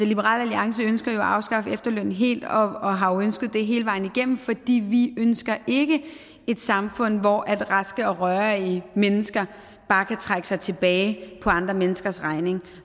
liberal alliance ønsker jo at afskaffe efterlønnen helt og og har jo ønsket det hele vejen igennem fordi vi ønsker et samfund hvor raske og rørige mennesker bare kan trække sig tilbage på andre menneskers regning